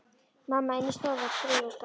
Mamma inni í stofu að strauja og staga.